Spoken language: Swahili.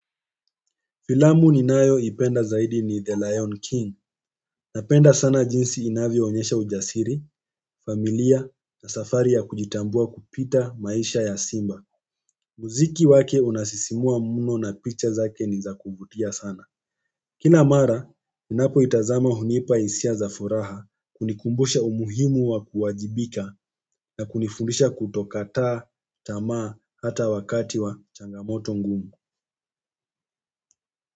Filamu ninayo ipenda zaidi ni The Lion King. Napenda sana jinsi inavyo onyesha ujasiri, familia na safari ya kujitambua kupita maisha ya simba. Muziki wake unasisimua mno na picha zake ni za kuvutia sana. Kila mara, ninapo itazama hunipa hisia za furaha, kunikumbusha umuhimu wa kuwajibika na kunifundisha kutokata, tamaa, hata wakati wa changamoto ngumu.